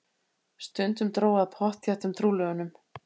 Stundum dró að pottþéttum trúlofunum.